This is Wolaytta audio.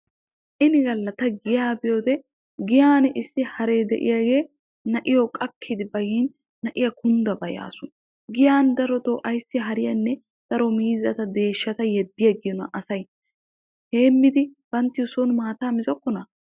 Ini galla ta giyaa biyoode giyaan issi haree de'iyaagee na'iyoo qakki bayin na'iyaa kundda bayasu. giyaan darotoo ayssi hariyaanne daro miizzata deeshshata ayssi yeddi agiyoonaa asay heemmidi banttawu soni maataa mizokkonaa?